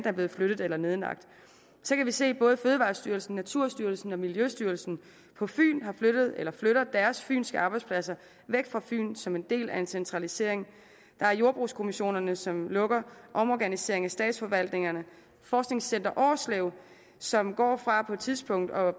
er blevet flyttet eller nedlagt så kan vi se at både fødevarestyrelsen naturstyrelsen og miljøstyrelsen på fyn har flyttet eller flytter deres fynske arbejdspladser væk fra fyn som en del af en centralisering der er jordbrugskommissionerne som lukker omorganisering af statsforvaltningerne forskningscenter årslev som går fra på et tidspunkt at